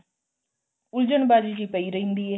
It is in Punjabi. ਉਲਝਣ ਬਾਜੀ ਜੀ ਪਈ ਰਹਿੰਦੀ ਏ